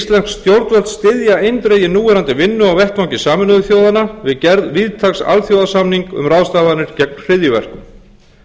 stjórnvöld styðja eindregið núverandi vinnu á vettvangi sameinuðu þjóðanna að gerð víðtæks alþjóðasamnings um ráðstafanir gegn hryðjuverkum